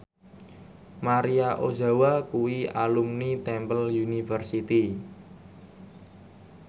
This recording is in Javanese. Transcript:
Maria Ozawa kuwi alumni Temple University